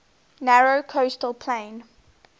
narrow coastal plain